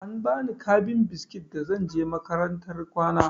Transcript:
An bani kabin biskit da zan je makarantar kwana.